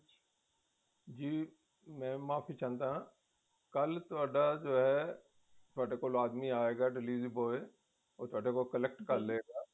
ਜੀ ਮੈਂ ਮਾਫ਼ੀ ਚਾਹੁੰਦਾ ਹਾ ਕੱਲ ਤੁਹਾਡਾ ਜੋ ਹੈ ਤੁਹਾਡੇ ਕੋਲ ਆਦਮੀ ਆਈਗੇ delivery boy ਉਹ ਤੁਹਾਡੇ ਕੋਲੋਂ collect ਕਰ ਲਵੇਗਾ